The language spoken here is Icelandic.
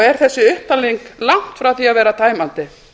er þessi upptalning langt frá því að vera tæmandi